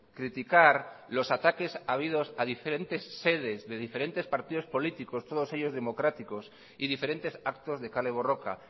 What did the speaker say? criticar los ataques habidos a diferentes sedes de diferentes partidos políticos todos ellos democráticos y diferentes actos de kale borroka